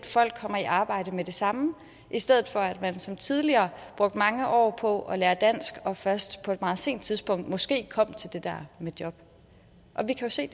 folk kommer i arbejde med det samme i stedet for at man som tidligere brugte mange år på at lære dansk og først på et meget sent tidspunkt måske kom til det der med job og vi kan se